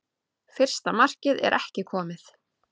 Fyrsta markmið er ekki komið